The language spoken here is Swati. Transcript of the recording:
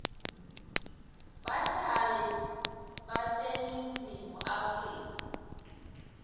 bahlali baseningizimu afrika